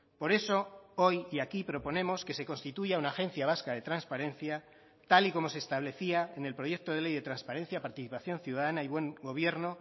por eso hoy y aquí proponemos que se constituya una agencia vasca de transparencia tal y como se establecía en el proyecto de ley de transparencia participación ciudadana y buen gobierno